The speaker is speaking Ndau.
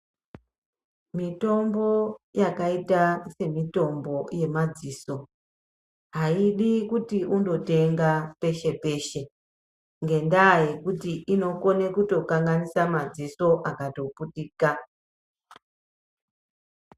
Mitombo, yakaita semitombo yemadziso, aidi kuti undotenga peshe-peshe, ngendaa yekuti inokone kutokanganise madziso, akatoputika.